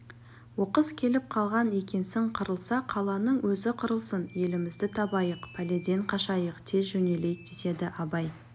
оқыс келіп қалған екенсің қырылса қаланың өзі қырылсын елімізді табайық пәледен қашайық тез жөнелейік деседі абай